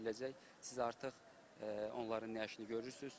Siz artıq onların nəşini görürsüz.